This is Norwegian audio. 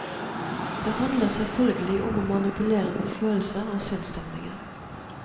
Det handler selvfølgelig om å manipulere med følelser og sinnsstemninger.